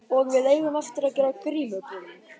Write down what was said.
Og við eigum eftir að gera grímubúning.